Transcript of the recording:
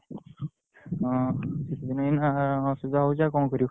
ହଁ ଏଇନା ଅସୁବିଧା ହଉଛି ଆଉ କଣ କରିବୁ?